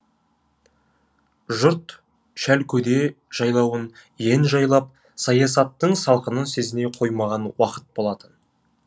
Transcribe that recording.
жұрт шәлкөде жайлауын ен жайлап саясаттың салқынын сезіне қоймаған уақыт болатын